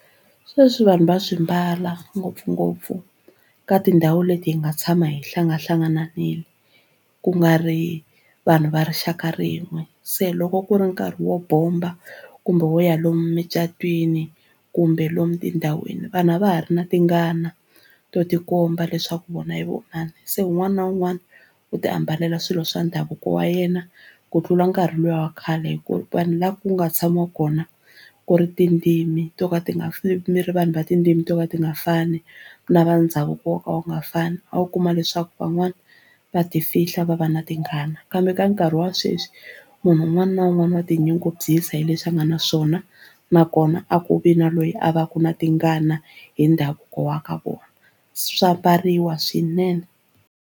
Sweswi vanhu va swi mbala ngopfungopfu ka tindhawu leti hi nga tshama hi hlangahlangananile ku nga ri vanhu va rixaka rin'we se loko ku ri nkarhi wo bomba kumbe wo ya lomu mucatwini kumbe lomu tindhawini vanhu a va ha ri na tingana to tikomba leswaku vona i vo mani se un'wana na un'wana u tiambalela swilo swa ndhavuko wa yena ku tlula nkarhi luwa wa khale hi ku vanhu lava ku nga tshama kona ku ri tindzimi to ka ti nga mi ri vanhu va tindzimi to ka ti nga fani lava ndhavuko wo ka wu nga fani a wu kuma leswaku van'wani va tifihla va va na tingana kambe ka nkarhi wa sweswi munhu un'wana na un'wana wa tinyungubyisa hi leswi a nga na swona nakona a ku vi na loyi a va ku na tingana hi ndhavuko wa ka vona swa mbariwa swinene.